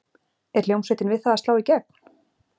Er hljómsveitin við það að slá í gegn?